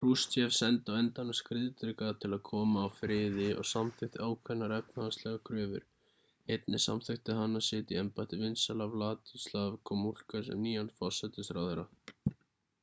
krushchev sendi á endanum skriðdreka til að koma á friði og samþykkti ákveðnar efnahagslegar kröfur einnig samþykkti hann að setja í embætti vinsæla wladyslaw gomulka sem nýjan forsætisráðherra